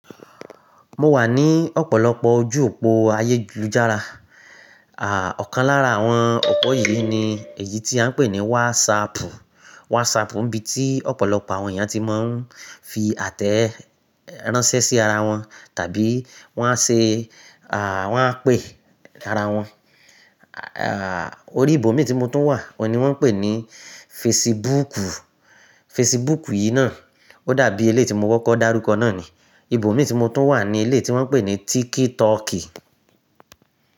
Mo wà ní ọ̀pọ̀lọpọ̀ ojú òpó ayélujára, à ọ̀kan lára àwọn opo yìí ni èyí tí a ń pè ní WhatsApp. WhatsApp ń bí tí ọ̀pọ̀lọpọ̀ àwọn èèyàn tí máa ń fi àtẹ ránṣẹ́ sí ara wọn tàbí wọ́n á ṣe, à wọ́n á pè ara wọn. À, orí ìbò mí tí mo tún wà, oun wọ́n ń pè ní Facebook. Facebook yìí náà ó dàbí eleyii tí mo kọ́kọ́ dárúkọ náà ni. Ìbò mí tí mo tún wà ni ilé tí wọ́n ń pè ní TikTok.